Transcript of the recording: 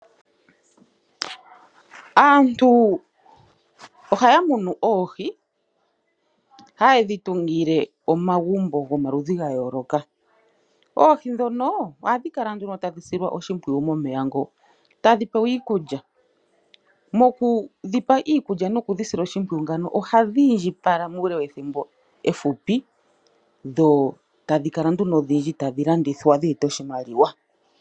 Aantu ohaamunu oohi noha ye dhitungile omagumbo gayoloka. Oohi ohadhi silwa oshimpwiyu momeya ngo, tadhi pewa iikulya. Mokudhipa iikulya ohadhi indjipala pawufupi dho tadhikala odhindji dheetepo oshimaliwa.